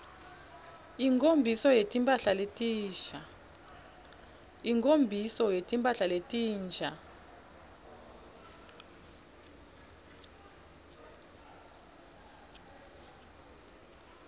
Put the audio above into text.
inkho mbiso yetimphla letinsha